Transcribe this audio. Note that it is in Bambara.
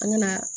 An ŋana